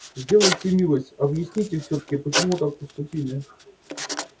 сделайте милость объясните всё-таки почему так поступили